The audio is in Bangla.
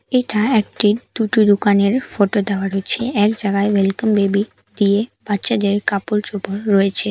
এটা একটি দুটো দোকানের ফটো দেওয়া রয়েছে এক জায়গায় ওয়েলকাম বেবি দিয়ে বাচ্চাদের কাপড় চোপড় রয়েছে।